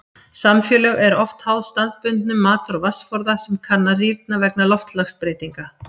Samfélög eru oft háð staðbundum matar- og vatnsforða sem kann að rýrna vegna loftslagsbreytinga.